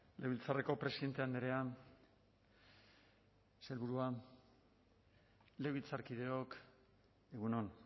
legebiltzarreko presidente andrea sailburua legebiltzarkideok egun on